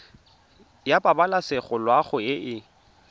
ya pabalesego loago e e